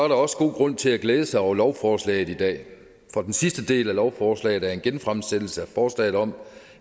der også god grund til at glæde sig over lovforslaget i dag for den sidste del af lovforslaget er en genfremsættelse af forslaget om